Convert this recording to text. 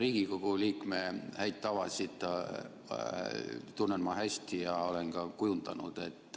Riigikogu liikme häid tavasid tunnen ma hästi ja olen ka kujundanud.